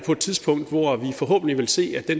forhåbentlig vil se at de